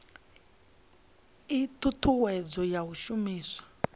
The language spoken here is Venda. ii thuthuwedzo ya u shumiswa